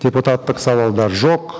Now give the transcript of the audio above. депутаттық сауалдар жоқ